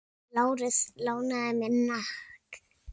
Lárus lánaði mér hnakk.